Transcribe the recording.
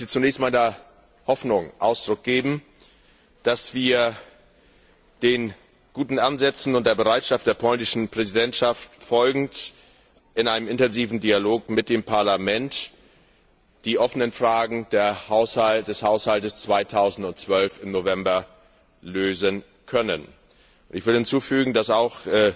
Ich möchte zunächst meiner Hoffnung Ausdruck geben, dass wir, den guten Ansätzen und der Bereitschaft der polnischen Präsidentschaft folgend, in einem intensiven Dialog mit dem Parlament die offenen Fragen des Haushalts 2012 im November lösen können. Ich will hinzufügen, dass auch